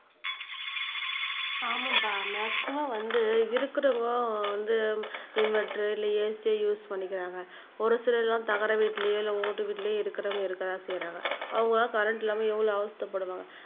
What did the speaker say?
ஆமாம்பா மாக்ஸிமும் வந்து இருக்கிறவங்க வந்து இன்வெர்டர் இல்லை AC யோ யூஸ் பண்ணிக்கிறாங்க ஒரு சிலர் எல்லாம் தகர வீட்டிலேயோ இல்லை ஓட்டு வீட்டிலேயோ இருக்கிறவங்க இருக்கத்தான் செய்யுறாங்க அவங்கெல்லாம் கரண்ட் இல்லாம எவ்வளவு அவஸ்தைப்படுவாங்க